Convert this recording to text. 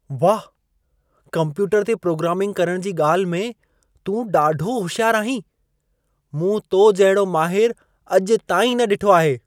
वाह! कम्प्यूटर ते प्रोग्रामिंग करण जी ॻाल्हि में, तूं ॾाढो होशियार आहीं। मूं तो जहिड़ो माहिरु अॼु ताईं न ॾिठो आहे।